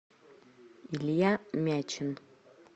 илья мячин